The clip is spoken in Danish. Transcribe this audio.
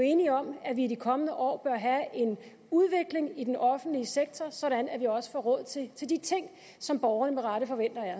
enige om at vi i de kommende år bør have en udvikling i den offentlige sektor sådan at der også bliver råd til de ting som borgerne med rette forventer af